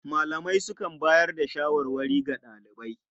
Malamai sukan bayar da shawarwari ga ɗalibai.